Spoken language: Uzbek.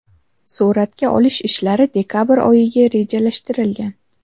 Suratga olish ishlari dekabr oyiga rejalashtirilgan.